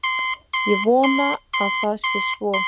Ég vona að það sé svo